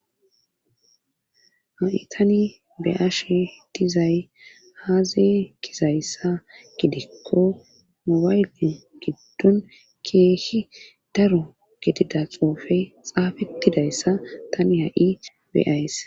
Ha'i tani be'ashe dizay azze gizayssa gidikko mobayle giddon keehi daro getida xoofe xaafettidayssa tani ha7i beays